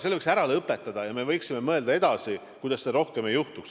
Selle võiks ära lõpetada ja me võiksime mõelda, mida teha, et seda edaspidi rohkem ei juhtuks.